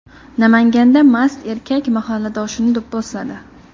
Namanganda mast erkak mahalladoshini do‘pposladi.